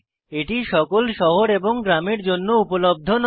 এটি সকল শহর এবং গ্রামের জন্য উপলব্ধ নয়